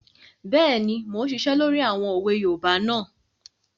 Bẹ́ẹ̀ni, mo n ṣiṣẹ́ lórí àwọn òwe yoòbá náà